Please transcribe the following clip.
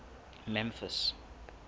memphis